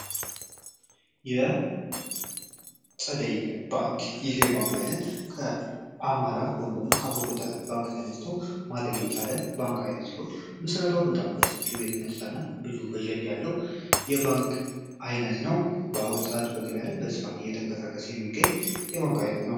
የ ፀደይ ባንክ ይህ የ ባንክ አይነት ከ አማራ ወይም ደህሞ ከ አቡቁተ ባንክ ተነስቶ ማደግ የቻለ ባንክ አይነት ሲሆን ምስረታዉ በጣም በሰፊው የተነሳ እና ብዙ በጀት ያለው የ ባንክ አይነት ነው በ አሁኑ ሰዓት በገበያ ላይ አየተቀሳቀሰ የሚገኝ የ ባንክ አይነት ነው